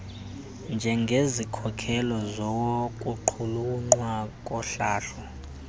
njengezikhokelo zokuqulunqwa kohlahlo